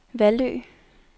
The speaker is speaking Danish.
Vallø